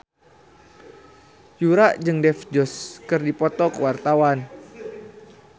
Yura jeung Dev Joshi keur dipoto ku wartawan